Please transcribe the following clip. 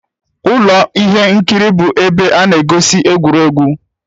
Ụlọ ihe nkiri bụ ebe a na-egosi egwuregwu.